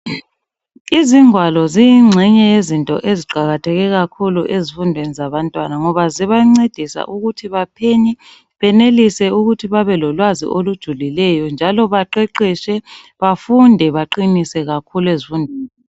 Izingwalo ziyingxenye yezinto eziqakatheke kakhulu ezifundweni zabantwana ngoba zibancedisa ukuthi baphenye benelise ukuthi babe lolwazi olujulileyo njalo baqeqetshe bafunde baqinise kakhulu ezifundweni